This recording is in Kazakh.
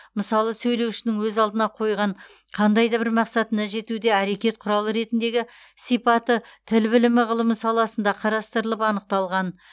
мысалы сөйлеушінің өз алдына қойған қандай да бір мақсатына жетуде әрекет құралы ретіндегі сипаты тіл білімі ғылымы саласында қарастырылып анықталған